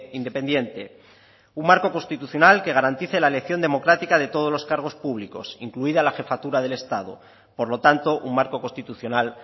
independiente un marco constitucional que garantice la elección democrática de todos los cargos públicos incluida la jefatura del estado por lo tanto un marco constitucional